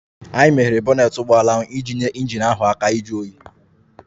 Anyị meghere bonnet ụgbọ ala iji nyere injin ahụ aka ịjụ oyi